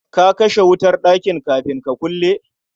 Ka kashe wutar ɗakin kafin ka kulle?